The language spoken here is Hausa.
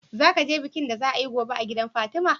Zaka je bikin da za a yi gobe a gidan fatima?